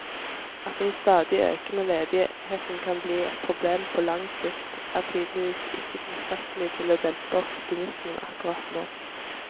At den stadig økende ledigheten kan bli et problem på lang sikt, er tydeligvis ikke tilstrekkelig til å dempe optimismen akkurat nå.